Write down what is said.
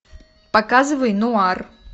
показывай нуар